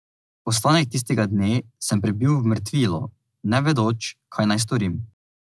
Ostanek tistega dne sem prebil v mrtvilu, ne vedoč, kaj naj storim.